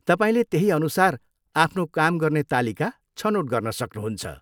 तपाईँले त्यही अनुसार आफ्नो काम गर्ने तालिका छनोट गर्न सक्नुहुन्छ।